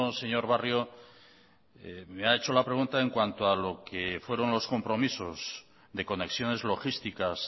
señor barrio me ha hecho la pregunta en cuanto a lo que fueron los compromisos de conexiones logísticas